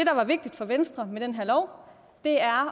er vigtigt for venstre med den her lov er